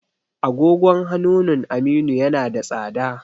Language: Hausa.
agogon hanunun Aminu yana da tsada